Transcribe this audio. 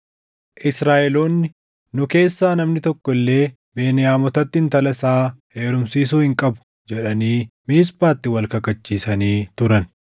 Israaʼeloonni, “Nu keessaa namni tokko illee Beniyaamotatti intala isaa heerumsiisuu hin qabu” jedhanii Miisphaatti wal kakachiisanii turan.